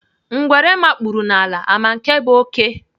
Ngwere makpuru n'ala ama nke bụ oké?